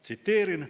Tsiteerin: "...